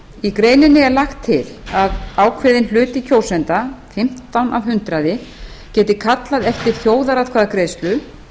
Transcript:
í greininni er lagt til að ákveðinn hluti kjósenda fimmtán af hundraði geti kallað eftir þjóðaratkvæðagreiðslu